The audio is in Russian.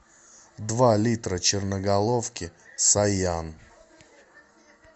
два литра черноголовки саян